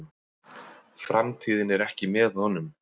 Framtíðin er ekki með honum.